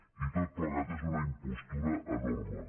i tot plegat és una impostura enorme